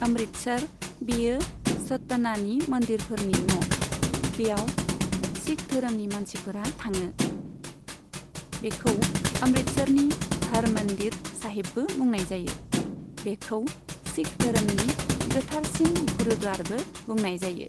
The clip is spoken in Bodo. अमृतसर बेयो सटनानि मन्दिरफोरनि न'। बेयाव शिख धोरोमनि मानसिफोरा थाङो। बेखौ अमृतसरनि हर मन्दिर साहिबबो बुंनाय जायो। बेखौ शिख धोरोमनि गोथारसिन गुरुद्वारबो बुंनाय जायो।